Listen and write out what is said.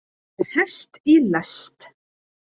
Með hest í lest